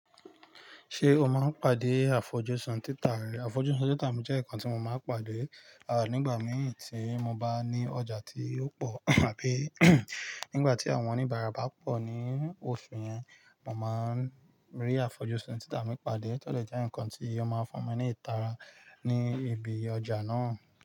Ṣé o máa ń pàdé àfojúsùn títà rẹ? Àfojúsùn títà mi jẹ́ nǹkan tí mo máa ń pàdé, à nígbà mìí tí mo bá ní ọjà tí ó pọ̀ àbí nígbà tí àwọn oníbàárà bá pọ̀ ní oṣù yẹn, mo máa ń rí àfojúsùn títà mi pade, todè jẹ́ ǹkan tí ó máa ń fún mi ní ìtara ní ibi ọjà náà.